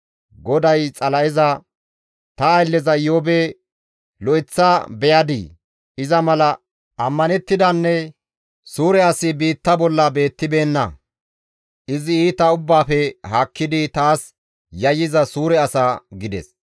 GODAY Xala7eza, «Ta aylleza Iyoobe lo7eththa beyadii? Iza mala ammanettidanne suure as biitta bolla beettibeenna; izi iita ubbaafe haakkidi taas yayyiza suure asa» gides.